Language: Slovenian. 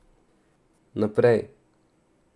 Naprej.